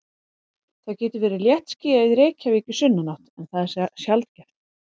Það getur verið léttskýjað í Reykjavík í sunnanátt en það er sjaldgæft.